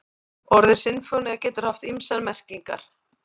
Orðið sinfónía getur haft ýmsar merkingar.